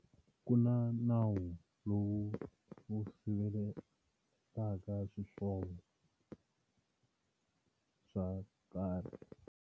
Ku na nawu lowu wu siveletaka swihlovo swo karhi.